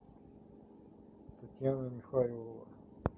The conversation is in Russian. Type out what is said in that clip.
татьяна михайлова